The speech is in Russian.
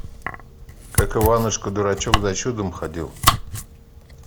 как иванушка дурачок за чудом ходил